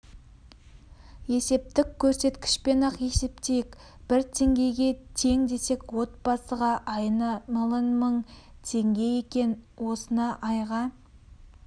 есептік көрсеткішпен-ақ есептейік бір теңгеге тең десек отбасыға айына млн мың теңге екен осыны айға